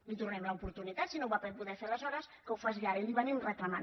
li’n tornem l’oportunitat si no ho va poder fer aleshores que ho faci ara i li ho reclamem